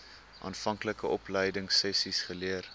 aanvanklike opleidingsessies geleer